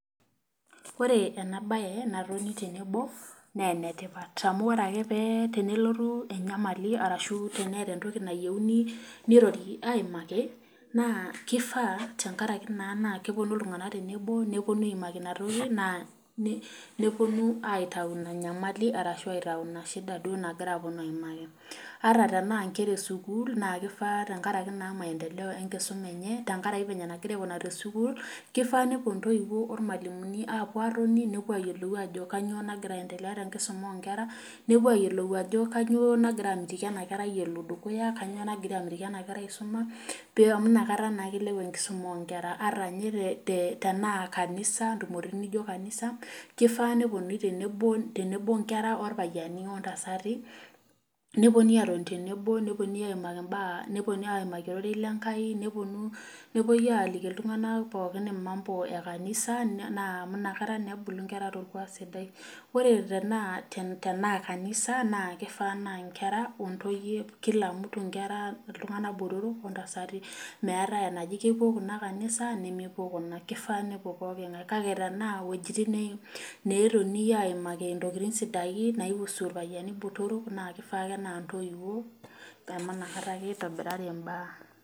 Ore enabae, natoni tenebo, nee enetipat. Amu ore ake pe tenelotu enyamali, arashu teneeta entoki nayieuni nirori aimaki, naa kifaa tenkaraki naa kiponu iltung'anak tenebo neponu aimaki inatoki, naa neponu aitayu ina nyamali arashu aitayu inashida duo nagira aponu aimaki. Ata tenaa nkera esukuul, na kifaa tenkaraki naa maendeleo enkisuma enye, tenkaraki venye nagira aikunari tesukuul, kifaa nepuo ntoiwuo ormalimuni apuo atoni nepuo ayiolou ajo kanyioo nagira aendelea tenkisuma onkera, nepuo ayiolou ajo kanyioo nagira amitiki enaerai elo dukuya, kanyioo nagira amitiki ena kerai isuma, pee amu nakata naa ilepu enkisuma onkera. Ata nye tenaa kanisa, ntumoritin nijo kanisa, kifaa neponunui tenebo onkera orpayiani ontasati, neponui atoni tenebo, neponui aimaki mbaa, neponui aimaki ororei lenkai, neponu, nepoi aliki iltung'anak pookin i mambo e kanisa, naa amu nakata nebulu nkera torkuak sidai. Ore tenaa kanisa, na kifaa naa nkera ontoyie, kila mtu nkera iltung'anak botorok, ontasati. Meeta enaji kepuo kuna kanisa nemepuo kuna. Kifaa nepuo pooking'ae. Kake tenaa wuojiting' netonii aimaki intokiting sidain nai husu irpayiani botorok, na kifaa ake naa ntoiwuo, amu nakata ake itobirari imbaa.